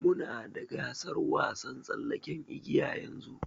Muna da gasar wasan tsallaken igiya yanzu.